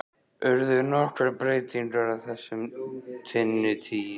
Urðu nokkrar breytingar á þessu á þinni tíð?